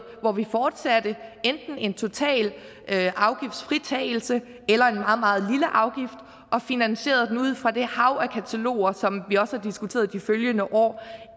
hvor vi fortsatte enten en total afgiftsfritagelse eller en meget meget lille afgift og finansierede den ud fra det hav af kataloger som vi også har diskuteret de følgende år